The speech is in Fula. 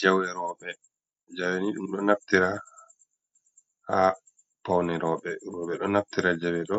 Jawe robe, jawe ni dum do naftira ha paune robe, robe do naftira jawe do